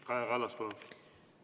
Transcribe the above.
Kaja Kallas, palun!